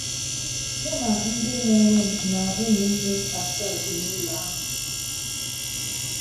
Mụ na ndị mụrụ m na ụmụnne m asaa bi n'ụlọ ahụ.